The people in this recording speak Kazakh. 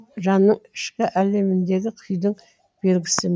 жанның ішкі әлеміндегі күйдің белгісі